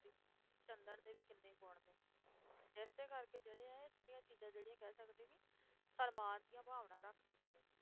ਇਸੇ ਕਰਕੇ ਜਿਹੜੇ ਇਹ ਸਾਰੀਆਂ ਚੀਜ਼ਾਂ ਜਿਹੜੀਆਂ ਕਹਿ ਸਕਦੇ ਹਾਂ ਕਿ ਸਨਮਾਨ ਦੀਆਂ ਭਾਵਨਾ ਰੱਖਦੀਆਂ ਨੇ।